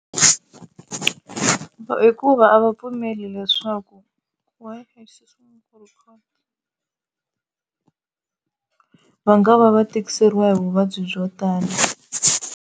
Hikuva a va pfumeli leswaku va nga va va tikiseliwa hi vuvabyi byo tala.